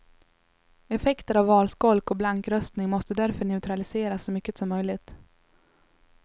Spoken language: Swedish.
Effekter av valskolk och blankröstning måste därför neutraliseras så mycket som möjligt.